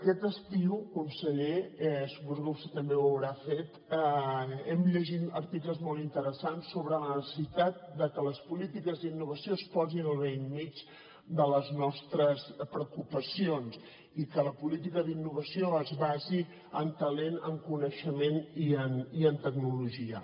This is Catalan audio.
aquest estiu conseller suposo que vostè també ho deu haver fet hem llegit articles molt interessants sobre la necessitat de que les polítiques d’innovació es posin al bell mig de les nostres preocupacions i que la política d’innovació es basi en talent en coneixement i en tecnologia